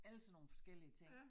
Alle sådan nogle forskellige ting